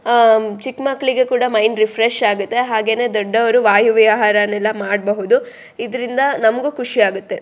ಅಹ್ ಚಿಕ್ ಮಕ್ಕಳಿಗೂ ಕೂಡ ಮೈಂಡ್ ರಿಫ್ರೆಶ್ ಆಗುತ್ತೆ ಹಾಗೆ ದೊಡ್ಡವರು ವಾಯುವಿಹಾರ ನೆಲ್ಲ ಮಾಡಬಹುದು ಇದರಿಂದ ನಮಗೂ ಖುಷಿಯಾಗುತ್ತೆ.